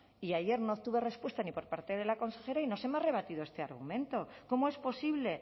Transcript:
y ayer no obtuve respuesta ni por parte de la consejera y no se me ha rebatido este argumento cómo es posible